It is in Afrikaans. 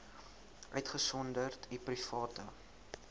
uitgesonderd u private